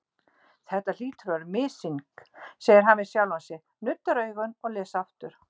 Þetta hlýtur að vera missýning, segir hann við sjálfan sig, nuddar augun og les aftur.